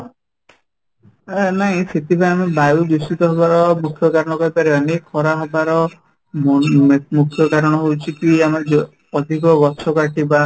ଏଁ ନାଇଁ ସେଥିପାଇଁ ଆମେ ବାୟୁ ଦୂଷିତ ହେବାର ମୁଖ୍ୟ କାରଣ କହିପାରିବାନି ଖରା ହେବାର ମୁଖ୍ୟ କାରଣ ହଉଛି କି ଆମର ଯୋଉ ଅଧିକ ଗଛ କାଟିବା